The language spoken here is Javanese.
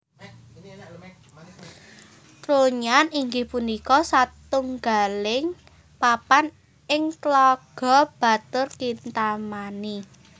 Trunyan inggih punika satunggaling papan ing Tlaga Batur Kintamani